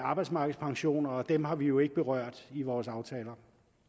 arbejdsmarkedspensioner og dem har vi jo ikke berørt i vores aftaler